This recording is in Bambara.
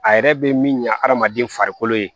A yɛrɛ be min ɲa adamaden farikolo ye